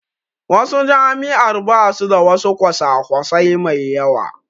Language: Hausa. Wasu jami'ar basu da wasu kwasa kwasai mai yawa